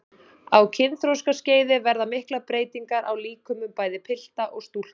Á kynþroskaskeiði verða miklar breytingar á líkömum bæði pilta og stúlkna.